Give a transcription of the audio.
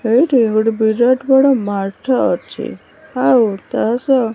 ଏଇଠି ଗୋଟେ ବିରାଟ ବଡ଼ ମ୍ୟାଟ ଟେ ଅଛି ଆଉ ତାସହ --